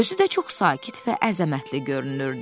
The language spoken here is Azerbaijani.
Özü də çox sakit və əzəmətli görünürdü.